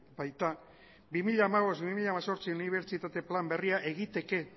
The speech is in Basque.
baita bi mila hamabost bi mila hemezortzi unibertsitate plan berria egiteke